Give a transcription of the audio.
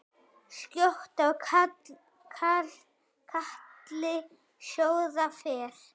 Skjótt á katli sjóða fer.